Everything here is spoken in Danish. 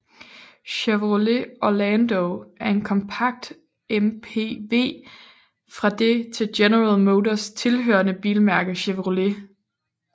Chevrolet Orlando er en kompakt MPV fra det til General Motors hørende bilmærke Chevrolet